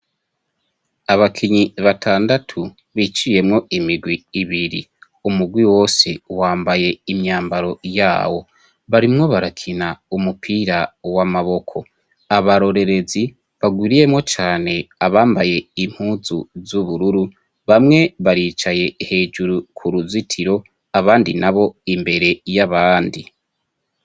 Abakinyi batandatu biciyemwo imigwi ibiri, umugwi wose wambaye imyambaro yawo, barimwo barakina umupira w'amaboko, abarorerezi bagwiriyemwo cane abambaye impuzu z'ubururu, bamwe baricaye hejuru ku ruzitiro abandi na bo imbere y'abandi.